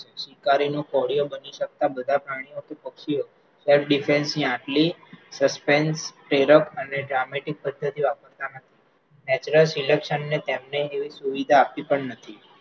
શિકારીનો કોળિયો બની શકતા બધા પ્રાણીઓ કે પક્ષીઓ self defense ની આટલી suspence, પ્રેરક અને જામેતિક પદ્ધતિઓ આપણામાં natural selection અને તેની સુવિધા આપી પણ નથી